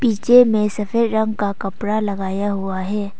नीचे मे सफेद रंग का कपड़ा लगाया हुआ है।